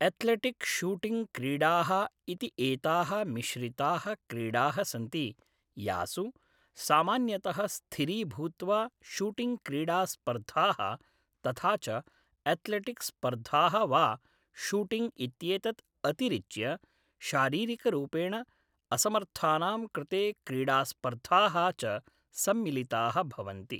Athletic shooting क्रीडाः इति एताः मिश्रिताः क्रीडाः सन्ति यासु सामान्यतः स्थिरीभूत्वा शूटिङ्ग् क्रीडास्पर्धाः तथा च एथलेटिक् स्पर्धाः वा शूटिङ्ग् इत्येतत् अतिरिच्य शारीरिकरूपेण असमर्थानां कृते क्रीडास्पर्धाः च सम्मिलिताः भवन्ति।